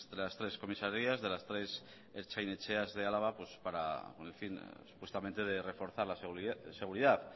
las tres comisarias de las tres ertzain etxeas de álava para con el fin supuestamente de reforzar la seguridad